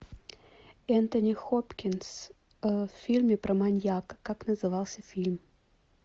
энтони хопкинс в фильме про маньяка как назывался фильм